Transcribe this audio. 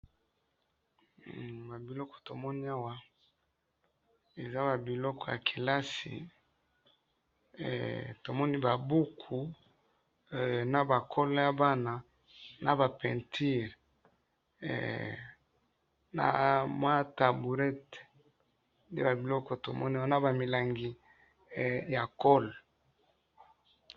Ba biloko tomoni awa ,eza ba biloko ya kelasi, tomoni ba buku na ba colle ya bana, na ba peinture, na mua tablette nde ba biloko tomoni awa na ba milangi ya colle